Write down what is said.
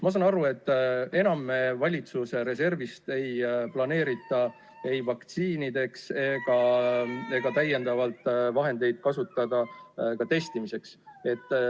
Ma saan aru, et enam ei planeerita valitsuse reservist võtta vahendeid vaktsiinide ostmiseks ega ka testimiseks.